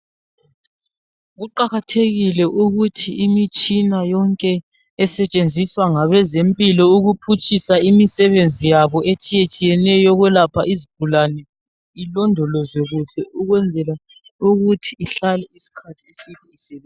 Kuqakathekile ukuthi imitshina yonke esetshenziswa ngabezempilo ukuphutshisa imisebenzi yabo etshiyetshiyeneyo yokuyelapha izigulane ilondolozwe kuhle ukwenzela ukuthi ihlale isikhathi eside.